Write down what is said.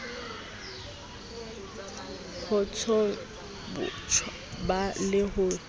hotsholo tjhoba le se le